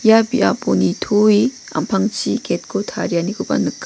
ia biapo nitoe am·pangchi gate-ko tarianikoba nika.